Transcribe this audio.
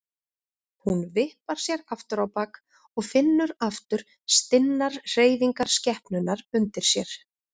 Hún vippar sér aftur á bak og finnur aftur stinnar hreyfingar skepnunnar undir sér.